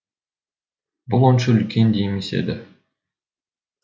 бұл онша үлкен де емес еді